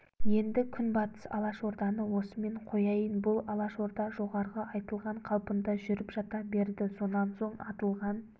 енді күнбатыс алашорданы осымен қояйын бұл алашорда жоғарғы айтылған қалпында жүріп жата берді сонан соң атылған